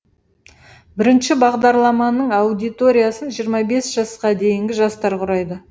бірінші бағдарламаның аудиториясын жиырма бес жасқа дейінгі жастар құрайды